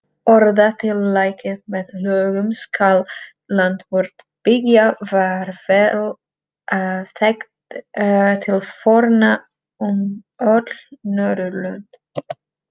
Orðatiltækið með lögum skal land vort byggja var vel þekkt til forna um öll Norðurlönd.